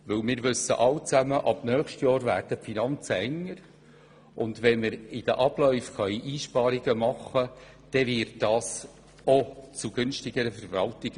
Wir wissen, dass die Finanzen ab dem nächsten Jahr enger werden, und wenn wir in den Abläufen Einsparungen machen können, dann führt das auch zu einer günstigeren Verwaltung.